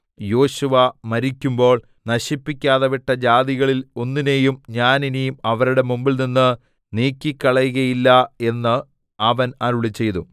യോശുവ മരിക്കുമ്പോൾ നശിപ്പിക്കാതെ വിട്ട ജാതികളിൽ ഒന്നിനെയും ഞാൻ ഇനി അവരുടെ മുമ്പിൽനിന്ന് നീക്കിക്കളകയില്ല എന്ന് അവൻ അരുളിച്ചെയ്തു